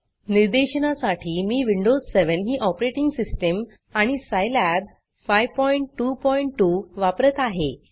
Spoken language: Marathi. निर्देशनासाठी मी विंडोज 7 ही ऑपरेटिंग सिस्टीम आणि सिलाब 522 वापरत आहे